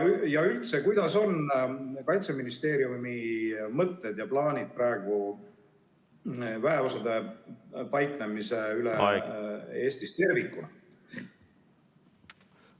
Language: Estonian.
Ja üldse, millised on Kaitseministeeriumi mõtted ja plaanid praegu väeosade paiknemise osas üle Eesti tervikuna?